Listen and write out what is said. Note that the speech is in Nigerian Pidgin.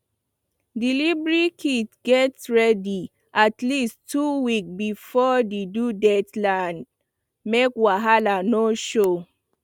delivery kit gats ready at least two weeks before the due date land make wahala no show